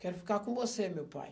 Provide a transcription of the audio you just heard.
Quero ficar com você, meu pai.